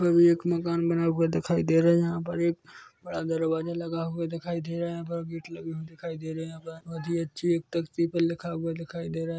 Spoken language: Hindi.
एक मकान बना हुआ दिखाई दे रहा है यहाँ पर एक बड़ा दरवाजा लगा हुआ दिखाई दे रहा है यहाँ पर गेट लगे हुए दिखाई दे रहे है यहाँ पर बहुत ही अच्छी एक तख्ती पर लिखा हुआ दिखाई दे रहा हैं।